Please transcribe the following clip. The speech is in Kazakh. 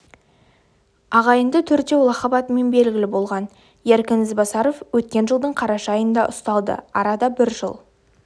ағайынды төртеу лақап атымен белгілі болған еркін ізбасаров өткен жылдың қараша айында ұсталды арада бір жыл